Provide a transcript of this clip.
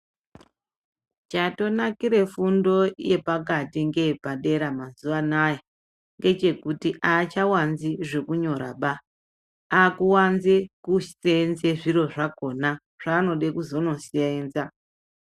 Chatonakira fundo yepakati ngeyepadera mazuwa anaya, ngechekuti aachawanzi zvekunyoraba, akuwanze kuseenze zviro zvakhona, zvaanode kuzonoseenza.